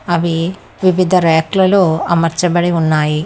అవి వివిధ ర్యకులలో అమర్చబడి ఉన్నాయి.